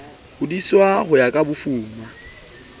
hodiswa ho ya ka bofuma